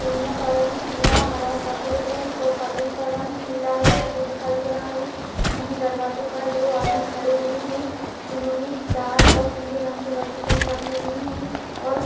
फूलों का रंग पीला हरा सफ़ेद है और पर्दों का रंग पीला और सफ़ेद दिखाई दे रहा है दरवाजे पर दो आदमी खड़े हुए है जिन्होंने लाल और पीले रंग के वस्त्र पहन रखे हुए हैं और --